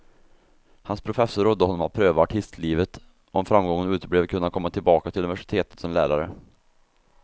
Hans professor rådde honom att pröva artislivet, om framgången uteblev kunde han komma tillbaka till universitetet som lärare.